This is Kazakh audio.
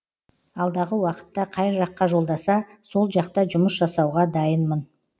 алдағы уақытта қай жаққа жолдаса сол жақта жұмыс жасауға дайынмын